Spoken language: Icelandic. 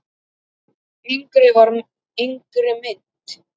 Yngri mynt